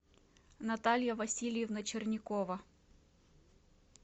наталья васильевна черникова